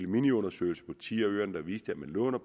miniundersøgelse på ti af øerne den viste at man låner